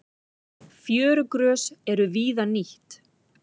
Fjörugrös eru víða nýtt.